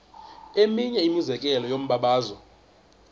eminye imizekelo yombabazo